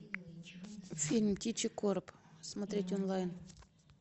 фильм птичий короб смотреть онлайн